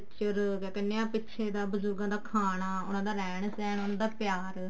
culture ਕੀ ਕਹਿਨੇ ਹਾਂ ਬਜੁਰਗਾਂ ਦਾ ਖਾਣਾ ਉਹਨਾ ਦਾ ਰਹਿਣ ਸਹਿਣ ਉਹਨਾ ਦਾ ਪਿਆਰ